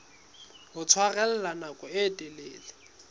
ho tshwarella nako e telele